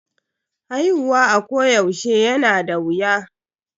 Haihuwa a ko yaushe yana da wuya.